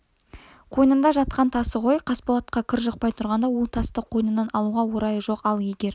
қойнында жатқан тасы ғой қасболатқа кір жұқпай тұрғанда ол тасты қойнынан алуға орайы жоқ ал егер